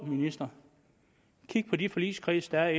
ministeren kig på de forligskredse der er